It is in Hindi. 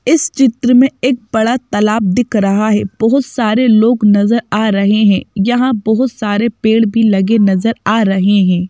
इस चित्र में एक बड़ा तालाब दिख रहा है बहोत सारे लोग नजर आ रहे हैं यहां बहोत सारे पेड़ भी लगे नजर आ रहे हैं।